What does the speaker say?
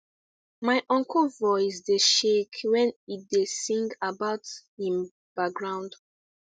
my uncle voice dey shake when he da sing about him baground